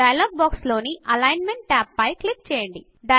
dialog box లోని alignment tab పైన click చేయండి